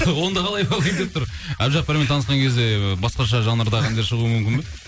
онда қалай болайын тұр әбдіжаппармен танысқан кезде басқаша жанрдағы әндер шығуы мүмкін бе